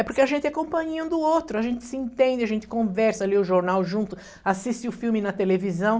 É porque a gente é companhia um do outro, a gente se entende, a gente conversa, lê o jornal junto, assiste o filme na televisão.